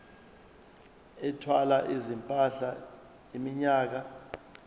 ethwala izimpahla iminyaka